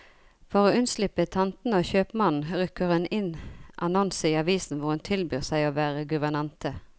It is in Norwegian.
For å unnslippe tantene og kjøpmannen, rykker hun inn annonser i avisen hvor hun tilbyr seg å være guvernante.